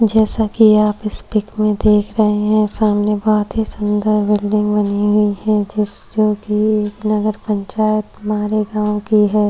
जैसा की आप इस पिक में देख रहे है सामने बहुत ही सुंदर बिल्डिंग बनी हुई है जिस जोकि एक नगरपंचायत मारेगाँव की है।